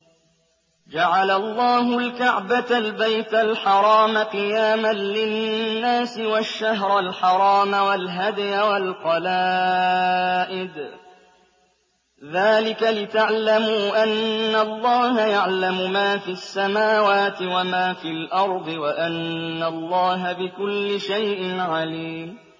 ۞ جَعَلَ اللَّهُ الْكَعْبَةَ الْبَيْتَ الْحَرَامَ قِيَامًا لِّلنَّاسِ وَالشَّهْرَ الْحَرَامَ وَالْهَدْيَ وَالْقَلَائِدَ ۚ ذَٰلِكَ لِتَعْلَمُوا أَنَّ اللَّهَ يَعْلَمُ مَا فِي السَّمَاوَاتِ وَمَا فِي الْأَرْضِ وَأَنَّ اللَّهَ بِكُلِّ شَيْءٍ عَلِيمٌ